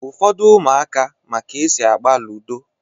Ụfọdụ ụmụaka ma ka-esi agba ludo